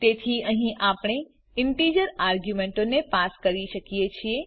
તેથી અહીં આપણે ઈન્ટીજર આર્ગ્યુમેંટોને પણ પાસ કરી શકીએ છીએ